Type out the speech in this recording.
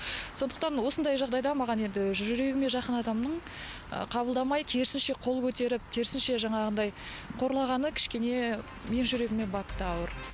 сондықтан осындай жағдайда маған енді жүрегіме жақын адамның қабылдамай керісінше қол көтеріп керісінше жаңағындай қорлағаны кішкене менің жүрегіме батты ауыр